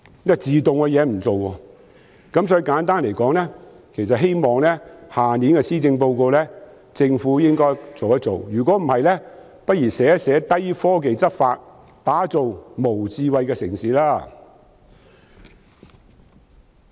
因此，我希望政府在明年的施政報告處理這問題，否則不如說是"低科技執法，打造無智慧城市"。